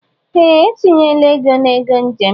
Ee, etinyele ego na ego njem